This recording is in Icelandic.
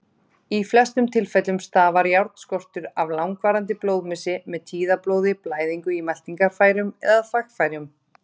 Í flestum tilfellum stafar járnskortur af langvarandi blóðmissi, með tíðablóði, blæðingu í meltingarfærum eða þvagfærum.